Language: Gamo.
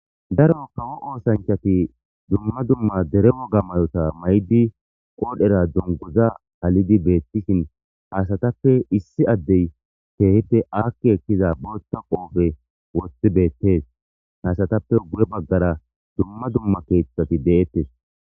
daro kawo oosanchati dumma dumma dere woga mayota may7di qoodhera dunguza halidi beettishin hasatappe issi addey teehete aakki ekkiza botta qoofe wothi beettees haasatappe gure baggara dumma dumma keeththati deettes